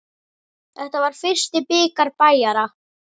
Þetta var fyrsti bikar Bæjara.